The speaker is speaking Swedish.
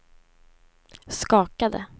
skakade